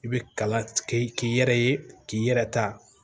I bɛ kalan kɛ k'i yɛrɛ ye k'i yɛrɛ ta